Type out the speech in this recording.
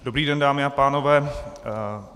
Dobrý den, dámy a pánové.